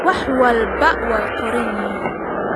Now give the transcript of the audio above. Wax walba waa qoran yihiin